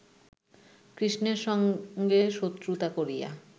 কৃষ্ণের সঙ্গে শত্রুতা করিয়া